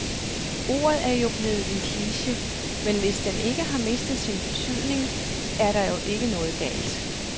Ordet er jo blevet en kliche, men hvis den ikke har mistet sin betydning, er der vel ikke noget galt.